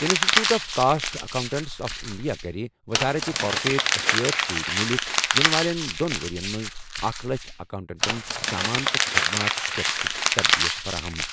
انسٹی ٹیوٗٹ of cost accountants of India کَرِ وزارت کارپوریٹ افیئرَس سۭتۍ مِلِتھ یِنہٕ والٮ۪ن دۄن ؤرۍ یَن منٛز اکھ لچھ اکاؤنٹنٹَن سامان تہٕ خدمات ٹیکسٕچ تربیت فراہم۔